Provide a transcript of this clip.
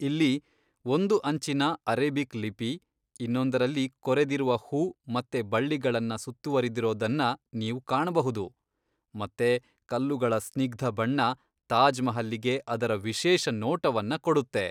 ಇಲ್ಲಿ ಒಂದು ಅಂಚಿನ ಅರೇಬಿಕ್ ಲಿಪಿ ಇನ್ನೊಂದರಲ್ಲಿ ಕೊರೆದಿರುವ ಹೂ ಮತ್ತೆ ಬಳ್ಳಿಗಳನ್ನ ಸುತ್ತುವರೆದಿರೋದನ್ನ ನೀವು ಕಾಣಬಹುದು, ಮತ್ತೆ ಕಲ್ಲುಗಳ ಸ್ನಿಗ್ಧ ಬಣ್ಣ ತಾಜ್ ಮಹಲ್ಲಿಗೆ ಅದರ ವಿಶೇಷ ನೋಟವನ್ನ ಕೊಡುತ್ತೆ.